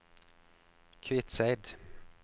Kviteseid